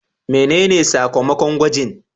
Menene sakamakon gwajin?